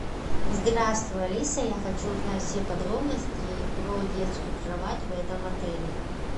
здравствуй алиса я хочу узнать все подробности про детскую кровать в этом отеле